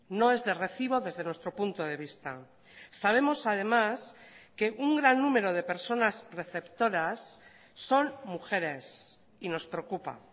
no es de recibo desde nuestro punto de vista sabemos además que un gran número de personas receptoras son mujeres y nos preocupa